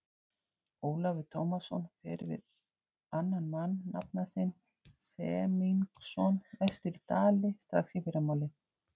Ólafur Tómasson fer við annan mann, nafna sinn Semingsson, vestur í Dali strax í fyrramálið.